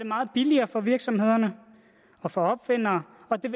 meget billigere for virksomhederne og for opfindere og det